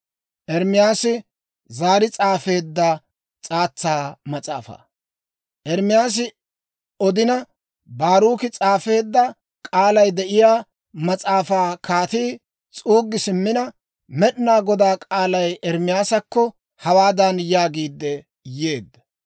Ermaasi odina, Baaruki s'aafeedda k'aalay de'iyaa mas'aafaa kaatii s'uuggi simmina, Med'inaa Godaa k'aalay Ermaasakko hawaadan yaagiidde yeedda;